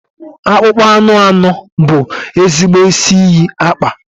Akpụkpọ anụ anụ bụ ezigbo isi iyi akpa.